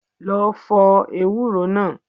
Lọ fọ ewúro náà.